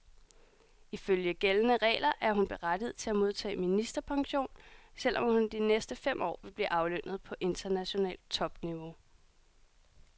Ifølge gældende regler er hun berettiget til at modtage ministerpension, selv om hun de næste fem år vil blive aflønnet på internationalt topniveau.